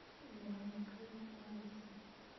Wĩ na mĩaka ĩigana thaa icĩ?